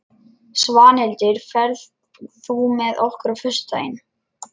Svanhildur, ferð þú með okkur á föstudaginn?